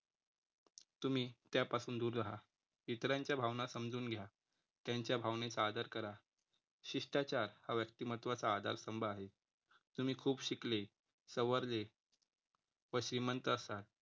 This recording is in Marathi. तुम्ही त्यापासून दूर राहा इतरांच्या भावना समजून घ्या. त्यांच्या भावनेचा आदर करा. शिष्टाचार या व्यक्तिमत्त्वाचा आधारस्तंभ आहे. तुम्ही खूप शिकले सवरले व श्रीमंत असाल